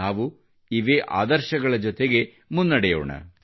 ನಾವು ಇದೇ ಆದರ್ಶಗಳ ಜೊತೆಗೆ ಮುನ್ನಡೆಯೋಣ